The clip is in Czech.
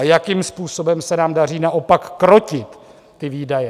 A jakým způsobem se nám daří naopak krotit ty výdaje?